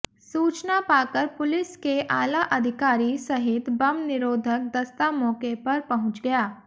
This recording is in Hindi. सूचना पाकर पुलिस के आला अधिकारी सहित बम निरोधक दस्ता मौके पर पहुंच गया